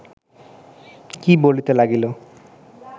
কি বলিতে লাগিল